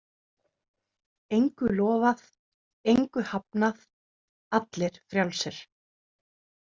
Engu lofað, engu hafnað, allir frjálsir.